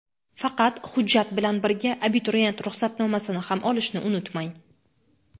Faqat hujjat bilan birga abituriyent ruxsatnomasini ham olishni unutmang.